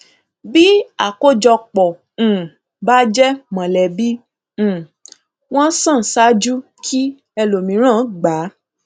bí àkójọpọ um bá jẹ mọlẹbí um wón san ṣáájú kí ẹlòmíràn gba